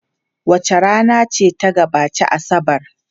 Wace rana ce ta gabaci Asabar?